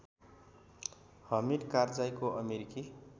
हमिद कारजाईको अमेरिकी